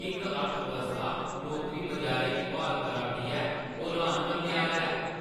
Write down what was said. Gig अर्थव्यवस्था नौकरी-बजारै गी ब्हाल करा 'रदी ऐ, ओह् हैरान करने आह्‌ला ऐ।